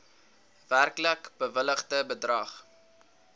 werklik bewilligde bedrag